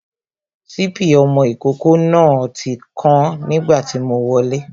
Sipi ọmọ ìkókó náà ti kán nígbà tí mo wọlé